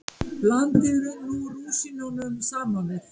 Blandið rúsínunum saman við.